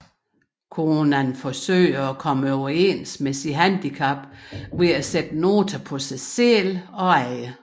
Conan forsøger at komme overens med sit handicap ved at sætte noter på sig selv og andre